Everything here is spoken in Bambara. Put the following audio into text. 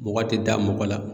Mɔgɔ te da mɔgɔ la.